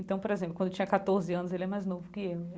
Então, por exemplo, quando eu tinha quatorze anos, ele é mais novo que eu.